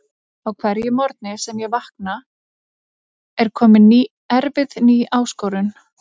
Á hverjum morgni sem ég vakna er komin erfið ný áskorun.